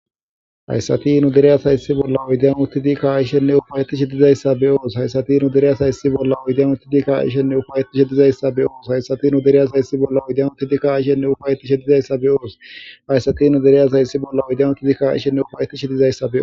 Hayssatinu dereyasa issi bolla oydeanu tidikka aishenne ufayetishi dizayssa be oos haysatinu dereyasa issi bolla oydeanu tidika aishenne ufayetish dizayssa be oos hayssatinu dereyasa issi bolla oydenu tidika aishenne ufayetishe dizayssa beoos hayssatinu dereyasa issi bolla oydenu tidika aishenne ufayetishi dizayssae.